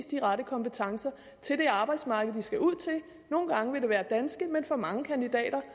de rette kompetencer til det arbejdsmarked de skal ud til nogle gange vil det være danske men for mange kandidater